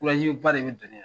ba de bɛ don ne la .